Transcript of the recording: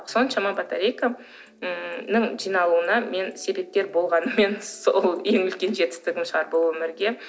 соншама батарейканың жиналуына мен себепкер болғаным менің сол ең үлкен жетістігім шығар бұл өмірге